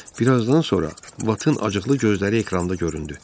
Bir azdan sonra Batın acıqlı gözləri ekranda göründü.